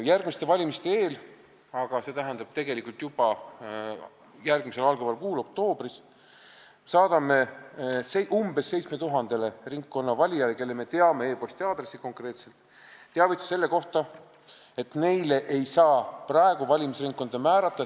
Järgmiste valimiste eel – st juba järgmisel kuul, oktoobris – saadame umbes 7000-le ringkonnata valijale, kelle e-posti aadressi me konkreetselt teame, teavituse, et neile ei saa praegu valimisringkonda määrata.